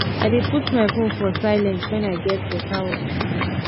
i dey put my phone for silent wen i get beta work to do